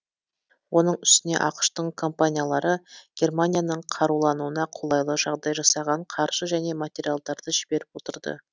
оның үстіне ақш тың компаниялары германияның қарулануына қолайлы жағдай жасаған қаржы және материалдарды жіберіп отырды